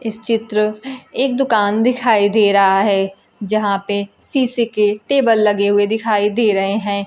इस चित्र एक दुकान दिखाई दे रहा है यहां पे शीशे के टेबल लगे हुए दिखाई दे रहे हैं।